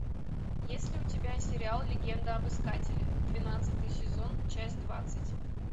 есть ли у тебя сериал легенда об искателе двенадцатый сезон часть двадцать